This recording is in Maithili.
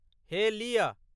हे लिय।